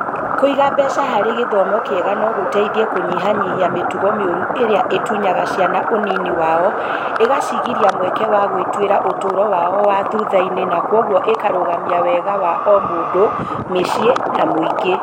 Kũiga mbeca harĩ gĩthomo kĩega no gũteithie kũnyihanyihia mĩtugo mĩũru ĩrĩa ĩtunyaga ciana ũnini wao, ĩgacigiria mweke wa gwĩtuĩra ũtũũro wao wa thutha-inĩ na kwoguo ĩkarũgamia wega wa o mũndũ , mïciĩ na mũingĩ